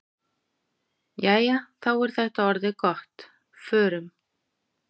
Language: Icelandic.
Jæja, þá er þetta orðið gott. Förum.